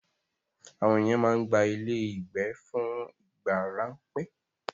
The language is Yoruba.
Àwọn ènìyàn máa ń gba ilé ìgbé fún ìgbà ráńpẹ́.